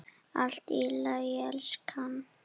Allt í lagi, elskan.